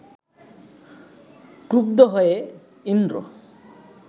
ক্রুদ্ধ হয়ে ইন্দ্র